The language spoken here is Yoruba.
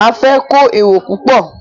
Máa fẹ́ kó èrò púpọ̀.